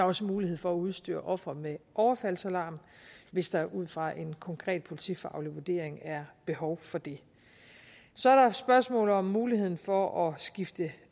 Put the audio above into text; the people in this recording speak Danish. også mulighed for at udstyre offeret med en overfaldsalarm hvis der ud fra en konkret politifaglig vurdering er behov for det så er der spørgsmålet om muligheden for at skifte